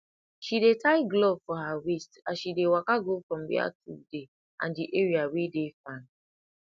she dey tie glove for her waist as she dey waka go from where tool dey and d area wey dey farm